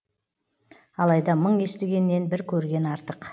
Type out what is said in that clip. алайда мың естігеннен бір көрген артық